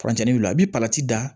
Furancɛ wilila bɛ da